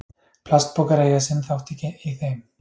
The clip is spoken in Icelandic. plastpokar eiga sinn þátt í þeim